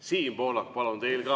Siim Pohlak, palun!